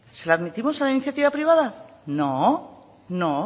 se la admitimos a la iniciativa privada no